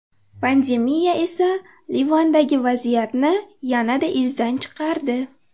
Pandemiya esa Livandagi vaziyatni yanada izdan chiqardi.